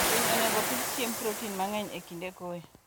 winy onego opidh chiemb proten mangeny e kinde koyo